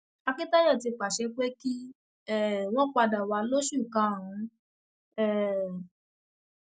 akíntayọ ti pàṣẹ pé kí um wọn padà wá lóṣù karùnún um